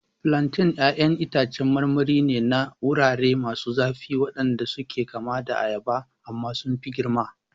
Plantains ƴaƴan itacen marmari ne na wurare masu zafi waɗanda suke kama da ayaba amma sun fi girma.